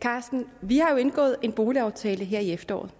carsten vi har jo indgået en boligaftale her i efteråret